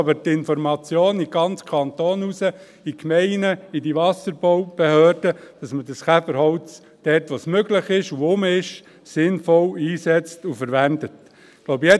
eigentlich nur, dass die Information in den ganzen Kanton hinausgeht, in die Gemeinden, in die Wasserbaubehörden, dass man das Käferholz sinnvoll einsetzt und verwendet, dort wo es möglich und vorhanden ist.